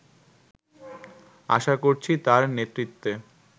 আশা করছি তার নেতৃত্বে